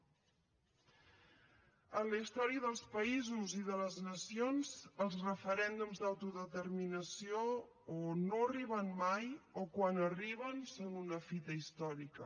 en la història dels països i de les nacions els referèndums d’autodeterminació o no arriben mai o quan arriben són una fita històrica